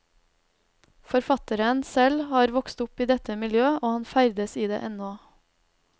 Forfatteren selv har vokst opp i dette miljø, og han ferdes i det ennå.